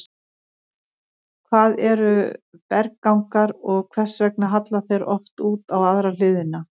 Hvað eru berggangar og hvers vegna halla þeir oft út á aðra hliðina?